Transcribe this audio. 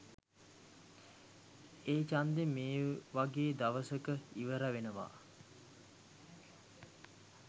ඒඡන්ද මේ වගේ දවසක ඉවර වෙනවා.